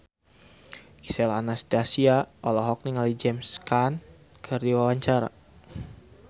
Gisel Anastasia olohok ningali James Caan keur diwawancara